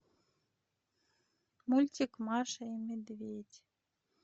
мультик маша и медведь